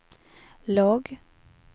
låg